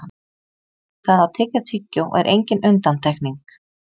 það að tyggja tyggjó er engin undantekning